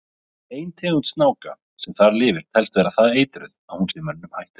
Ein tegund snáka sem þar lifir telst vera það eitruð að hún sé mönnum hættuleg.